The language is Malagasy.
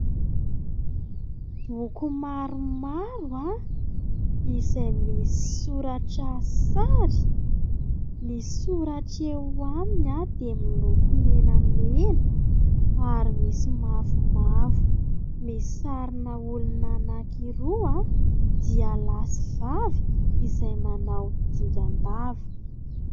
Boky maromaro izay misy soratra "sary". Ny soratra eo aminy dia miloko menamena ary misy mavomavo. Misy sarina olona anakiroa dia lahy sy vavy izay manao dingan-dava.